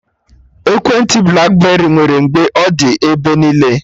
Ekwentị blakberị nwere mgbe ọ dị ebe niile